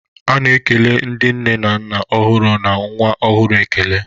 A na-ekele ndị nne na nna ọhụrụ na nwa ọhụrụ ekele.